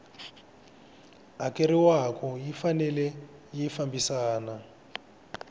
hakeriwaku yi fanele yi fambisana